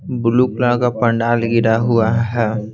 Blue colour का पंडाल गिरा हुआ है।